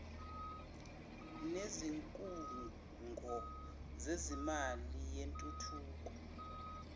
nezikhungo zezimali yentuthuko